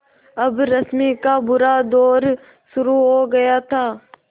अब रश्मि का बुरा दौर शुरू हो गया था